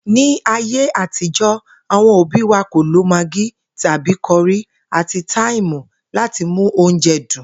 Ní ayé àtijó̩, àwo̩n òbí wa kò lo magí tàbí ko̩rí àti táìmù láti mú oúnje̩ dùn